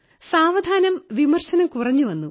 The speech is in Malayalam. സാവധാനം വിമർശനം കുറഞ്ഞു വന്നു